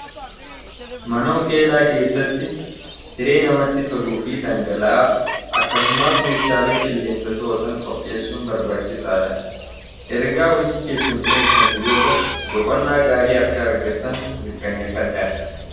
mana uteelaa keessatti siree namatti toluu fi dhangala'aa akkasumaas meeshaalee qilleensa to'otan qophiyeessuun barbaachisaa dha ergaa hojii keessan xumurtanii booda boqonnaa gaarii arka argattan mirkaneeffadha